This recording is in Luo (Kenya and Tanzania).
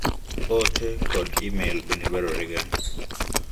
Oote kod email bende dwarorega.